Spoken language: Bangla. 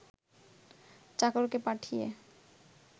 চাকরকে পাঠিয়ে